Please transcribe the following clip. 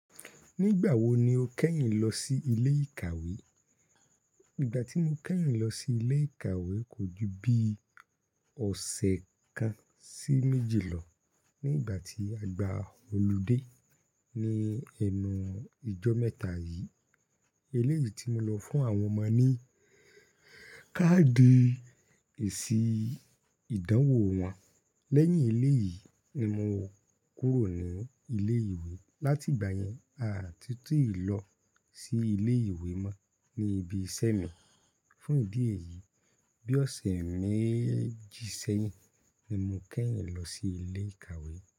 Nígbà wo ni o kẹ́yìn lọ sí ilé ìkàwé? Ìgbà tí mo kẹ́yìn lọ sí ilé ìkàwé kò ju bi ọ̀sẹ̀ kan sí méjì lọ nígbà tí a gbá holiday ní ẹnu ijọ́ mẹ́ta yìí. Elé yìí tí mo lọ fún àwọn ọmọ ní káàdì èsì ìdánwò wọn. Lẹ́yìn elé yìí ni mo kúrò ní ilé-ìwé. Lati ìgbà yẹn, a à ti túù lọ sí ilé-ìwé mọ́ ní ibi iṣẹ́ mi. Fún ìdí èyí, bí ọ̀sẹ̀ méjì sẹ́yìn ni mo kẹ́yìn lọ sí ilé ìkàwé.